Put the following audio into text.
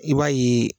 I b'a ye